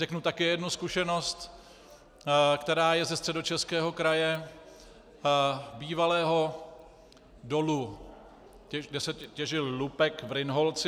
Řeknu také jednu zkušenost, která je ze Středočeského kraje, bývalého dolu, kde se těžil lupek, v Rynholci.